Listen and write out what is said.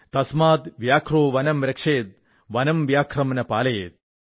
തസ്മാദ് വ്യാഘ്രോ വനം രക്ഷേത് വനം വ്യാഘ്രം ന പാലയേത്